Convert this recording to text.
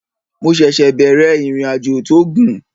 Mo ṣẹ̀ṣẹ̀ bẹ̀rẹ̀ ìrìnàjò tó gùn